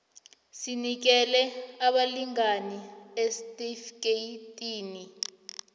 sinikele abalingani isitifikeyiti